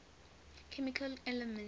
chemical elements